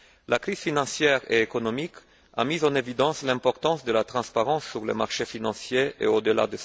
La crise financière et économique a mis en évidence l'importance de la transparence sur les marchés financiers et au delà.